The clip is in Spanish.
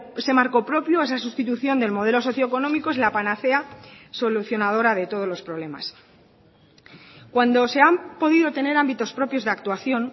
ese marco propio esa sustitución del modelo socio económico es la panacea solucionadora de todos los problemas cuando se han podido tener ámbitos propios de actuación